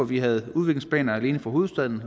vi havde udviklingsplaner alene for hovedstaden